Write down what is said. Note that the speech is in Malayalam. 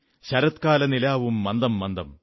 ശരത്കാലനിലാവും മന്ദമന്ദം